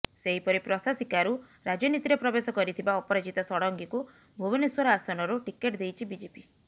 ସେହପରି ପ୍ରଶାସିକାରୁ ରାଜନୀତିରେ ପ୍ରବେଶ କରିଥିବା ଅପରାଜିତା ଷଡଙ୍ଗିକୁ ଭୁବନେଶ୍ୱର ଆସନରୁ ଟିକେଟ ଦେଇଛି ବିଜେପି